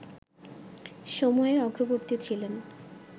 সময়ের অগ্রবর্তী ছিলেন